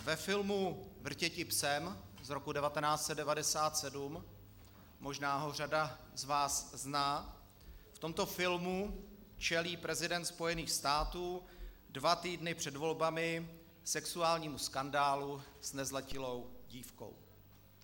Ve filmu Vrtěti psem z roku 1997, možná ho řada z vás zná, v tomto filmu čelí prezident Spojených států dva týdny před volbami sexuálnímu skandálu s nezletilou dívkou.